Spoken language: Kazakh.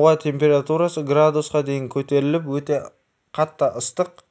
ауа температурасы градусқа дейін көтеріліп өте қатты ыстық